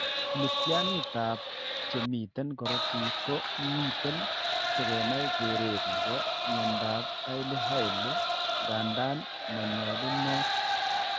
Miitiyaaniitap che miten korotiik ko miten si kenai keret ne po mnyandoap Hailey Hailey, ng'andan ma nyalunoot.